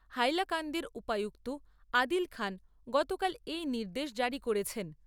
হাইলাকান্দির উপায়ুক্ত আদিল খান গতকাল এই নির্দেশ জারী করেছেন।